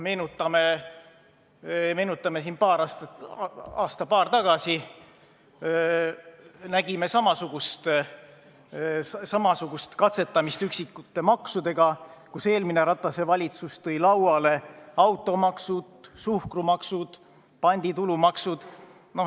Me mäletame, et aasta-paar tagasi nägime samasugust katsetamist üksikute maksudega: eelmine Ratase valitsus tõi lauale võimaliku automaksu, suhkrumaksu, panditulumaksu.